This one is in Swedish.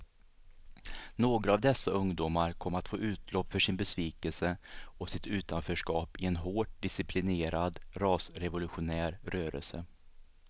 Några av dessa ungdomar kom att få utlopp för sin besvikelse och sitt utanförskap i en hårt disciplinerad rasrevolutionär rörelse.